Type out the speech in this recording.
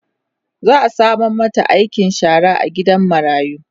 za'a sama mata aikin shara a gidan marayu